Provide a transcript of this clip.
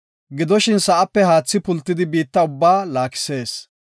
Gidoshin, sa7ape haathi pultidi, biitta ubbaa laakisees.